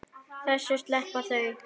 Þessu sleppa þau öllu.